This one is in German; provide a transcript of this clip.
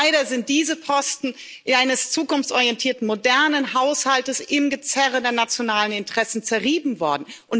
Aber leider sind diese Posten eines zukunftsorientierten modernen Haushalts im Gezerre der nationalen Interessen zerrieben worden.